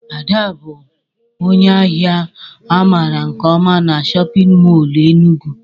Ada bụ ónyé áhiá a mara nke ọma n'shóppin mol Enugu